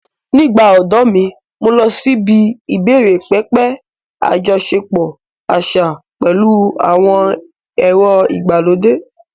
Nígbà odo mi, mo lọ síbi ìbẹ̀rẹ̀pẹ̀pẹ̀ àjọṣepọ̀ àṣà pẹ̀lú àwọn èrò ìgbàlódé.